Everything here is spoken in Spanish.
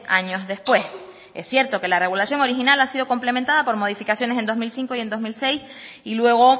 años después es cierto que la regulación original ha sido complementada por modificaciones en dos mil cinco y dos mil seis y luego